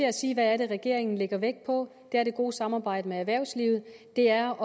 at sige hvad regeringen lægger vægt på det er det gode samarbejde med erhvervslivet det er